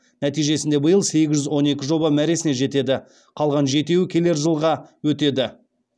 нәтижесінде биыл сегіз жүз он екі жоба мәресіне жетеді қалған жетеуі келер жылға өтеді